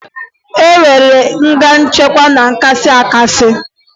E nwere nga nchekwa ya kasị akasị